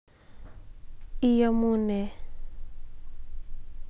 Iamune?